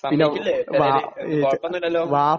സമ്മതിക്കില്ലേ, കുഴപ്പമൊന്നുമില്ലലോ.